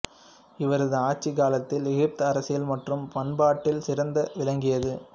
இவரது ஆட்சிக் காலத்தில் எகிப்து அரசியல் மற்றும் பண்பாட்டில் சிறந்து விளங்கியது